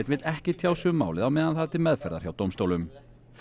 vill ekki tjá sig um málið á meðan það er til meðferðar hjá dómstólum